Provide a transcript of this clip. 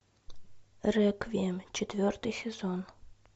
реквием четвертый сезон